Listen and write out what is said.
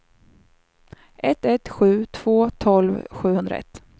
ett ett sju två tolv sjuhundraett